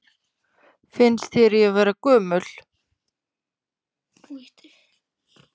Finnst þér ég vera gömul?